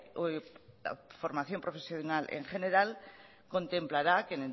o la formación profesional en general contemplará que